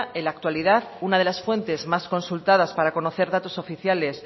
en la actualidad una de las fuentes más consultadas para conocer datos oficiales